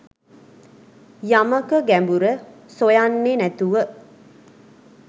යමක ගැඹුර සොයන්නෙ නැතුව